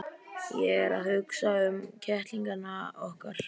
Ég er að hugsa um kettlingana okkar.